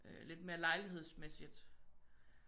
Lidt mere lejligheds-mæssigt